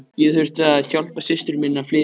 Ég þurfti að hjálpa systur minni að flytja.